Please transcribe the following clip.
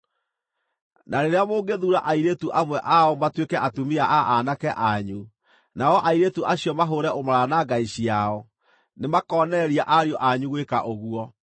Na rĩrĩa mũngĩthuura airĩtu amwe ao matuĩke atumia a aanake anyu, nao airĩtu acio mahũũre ũmaraya na ngai ciao, nĩmakonereria ariũ anyu gwĩka ũguo.